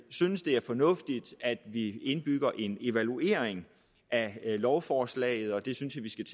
synes det er fornuftigt at vi indbygger en evaluering af lovforslaget og det synes jeg vi skal